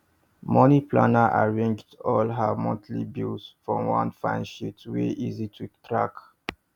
the money planner arrange all her monthly bill for one fine sheet wey easy to track